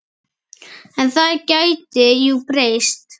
En það gæti jú breyst!